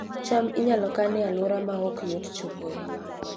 cham inyalo kan e alwora ma ok yot chopoe